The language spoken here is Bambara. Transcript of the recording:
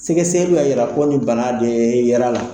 Sɛgɛsɛlu y'a yira ko ni bana de yel'a la.